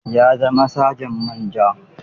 Ya zama Saja Manja.